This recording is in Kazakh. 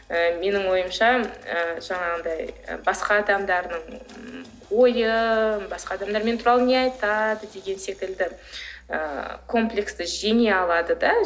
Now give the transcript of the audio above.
ы менің ойымша ы жаңағындай ы басқа адамдардың ойын басқа адамдар мен туралы не айтады деген секілді ы комплексті жеңе алады да